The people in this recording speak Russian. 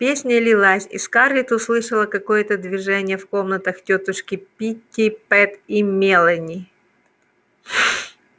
песня лилась и скарлетт услышала какое-то движение в комнатах тётушки питтипэт и мелани